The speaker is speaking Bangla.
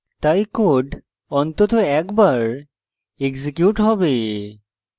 তাই code অন্তত একবার এক্সিকিউট হবে